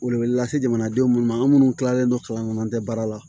Welewele lase jamanadenw minnu ma an minnu tilalen don kalan kɔnɔ an tɛ baara la